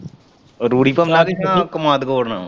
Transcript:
ਰੂੜੀ ਜਾਂ ਸੱਚੀ ਕੰਮਾਦ ਗੋਡਨਾ।